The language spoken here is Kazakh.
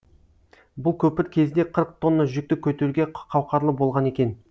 бұл көпір кезде қырық тонна жүкті көтеруге қауқарлы болған екен